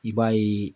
I b'a ye